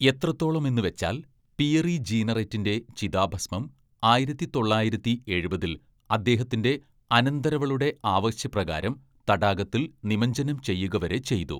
എത്രത്തോളമെന്ന് വെച്ചാൽ പിയറി ജീനറെറ്റിന്റെ ചിതാഭസ്മം ആയിരത്തി തൊള്ളായിരത്തി എഴുപതില്‍ അദ്ദേഹത്തിന്റെ അനന്തരവളുടെ ആവശ്യപ്രകാരം തടാകത്തിൽ നിമജ്ജനം ചെയ്യുക വരെ ചെയ്തു.